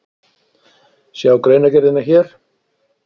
Sjá greinargerðina hér